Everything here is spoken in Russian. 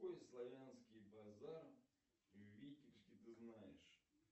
какой славянский базар в витебске ты знаешь